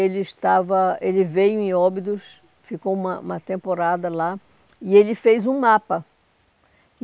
Ele estava ele veio em Óbidos, ficou uma uma temporada lá, e ele fez um mapa.